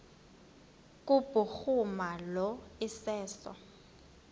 kubhuruma lo iseso